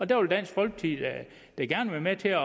der vil dansk folkeparti da gerne være med til